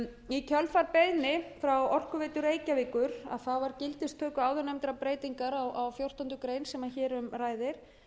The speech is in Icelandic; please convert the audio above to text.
í kjölfar beiðni frá orkuveitu reykjavíkur var gildistöku áðurnefndrar breytingar á fjórtándu greinar sem hér um ræðir